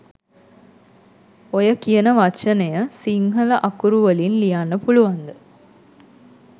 ඔය “” කියන වචනය සිංහල අකුරු වලින් ලියන්න පුළුවන්ද?